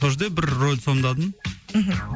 сол жерде бір рөлді сомдадым мхм